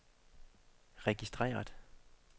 registreret